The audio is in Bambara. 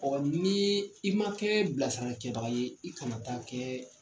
ni i ma kɛ bilasirakɛ baga ye, i kana taa kɛ